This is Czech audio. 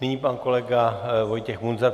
Nyní pan kolega Vojtěch Munzar.